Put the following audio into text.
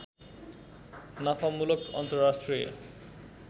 नाफामूलक अन्तर्राष्ट्रिय